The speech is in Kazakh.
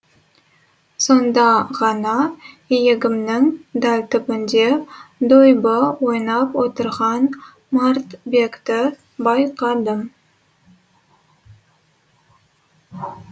сонда ғана иегімнің дәл түбінде дойбы ойнап отырған мартбекті байқадым